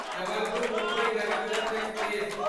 Jabalpur Mumbai Garib Rath express